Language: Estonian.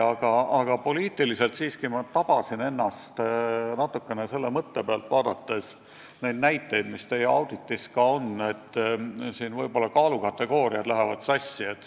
Aga kui asjasse poliitiliselt suhtuda, siis ma tabasin ennast teie auditis toodud näiteid vaadates mõttelt, et ega siin kaalukategooriad sassi ei lähe.